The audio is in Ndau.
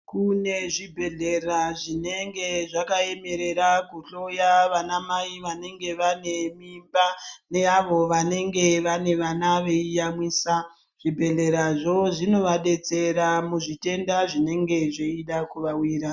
Kune zvibhedhlera zvinenge zvaka emerera ku hloya vana mai vanenge vane mimba ne avo vanenge vane vana vei yamwisa zvi bhedhlera zvo zvinova detsera mu zvitenda zvinenge zveida kuva wira.